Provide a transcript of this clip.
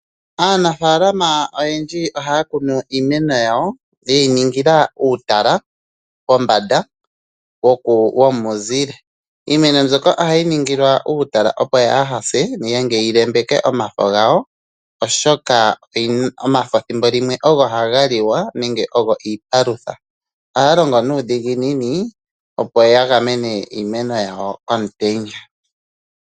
Aanafalama oyendji ohaya kunu uumeno wawo owundji yewu ningila uutala pombanda womuzile. Iimeno mbika ohayi ningilwa uutala opo yaaha se nenge yi lembeke omafo gawo, oshoka omafo thimbo limwe ogo haga liwa nenge ogo iipalutha. Ohaya longo nuudhiginini opo ya gamene iimeno yawo komutenya.